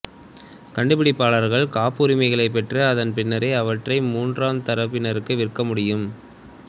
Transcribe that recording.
கண்டுபிடிப்பாளர்கள் காப்புரிமைகளைப் பெற்று அதன் பின்னர் அவற்றை மூன்றாம் தரப்பினருக்கு விற்க முடியும்